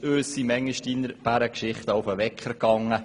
Uns sind deine Bärengeschichten manchmal auch auf den Wecker gegangen.